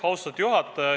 Austatud juhataja!